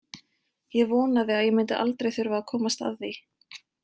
Ég vonaði að ég myndi aldrei þurfa að komast að því.